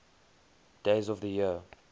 days of the year